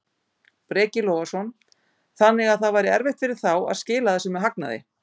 Breki Logason: Þannig að það væri erfitt fyrir þá að skila þessu með hagnaði?